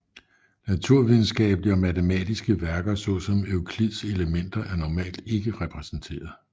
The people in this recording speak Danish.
Naturvidenskabelige og matematiske værker såsom Euklids Elementer er normalt ikke repræsenteret